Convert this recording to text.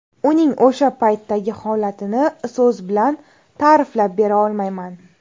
Uning o‘sha paytdagi holatini so‘z bilan ta’riflab bera olmayman.